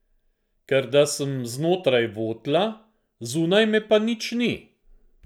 Ker da sem znotraj votla, zunaj me pa nič ni?